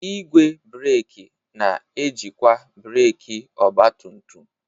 Igwe breeki na-ejikwa breeki ọgba tum tum.